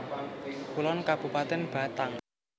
Kulon Kabupatèn Batang